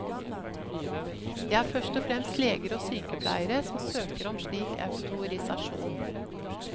Det er først og fremst leger og sykepleiere som søker om slik autorisasjon.